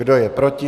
Kdo je proti?